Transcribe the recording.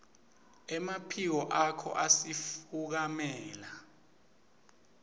emaphiko akho asifukamela